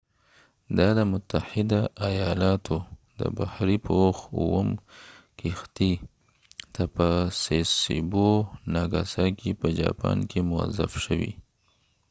دا د متحده ایالاتو د بحرې پوخ اووم کښتۍ ته په سسیبو ناګاساکې sasebo nagasaki په جاپان کې موظف شوي